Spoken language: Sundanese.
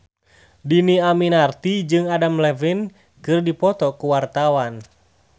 Dhini Aminarti jeung Adam Levine keur dipoto ku wartawan